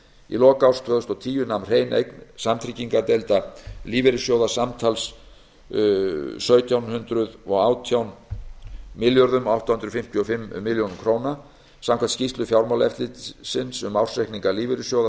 í lok árs tvö þúsund og tíu nam hrein eign samtryggingardeilda lífeyrissjóða samtals einni milljón sjö hundruð og átján þúsund átta hundruð fimmtíu og fimm milljónir króna samkvæmt skýrslu fjármálaeftirlitsins um ársreikninga lífeyrissjóða